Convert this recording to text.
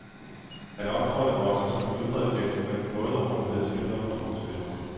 Han optrådte også som en udpræget gentleman, både over for medspillere og modspillere.